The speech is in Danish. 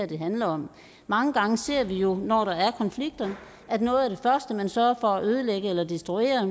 det handler om mange gange ser vi jo når der er konflikter at noget af det første man sørger for at ødelægge eller destruere